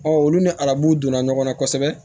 Ɔ olu ni arabu donna ɲɔgɔnna kosɛbɛ